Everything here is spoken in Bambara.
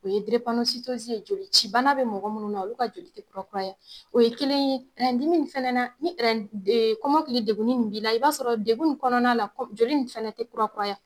O ye ye jolici bana be mɔgɔ munnu na olu ka joli te kurakuraya. O ye kelen ye, dimi ni fɛnɛ na, ni kɔmɔkili degunni m b'i la i b'a sɔrɔ degun in kɔnɔna la joli in fɛnɛ te kurakuraya.